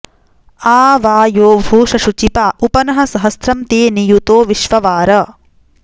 आ वा॑यो भूष शुचिपा॒ उप॑ नः स॒हस्रं॑ ते नि॒युतो॑ विश्ववार